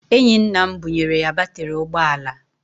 Enyi nna m bunyere ya batịrị ụgbọala.